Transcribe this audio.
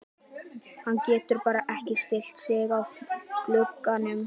Hann getur bara ekki slitið sig frá glugganum.